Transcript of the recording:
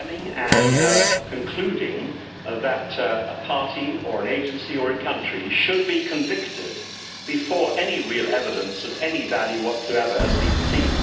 condemning and concluding that a party or an agency or a country should be convicted before any real evidence of any value whatsoever has been seen.